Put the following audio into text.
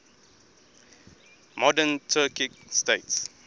modern turkic states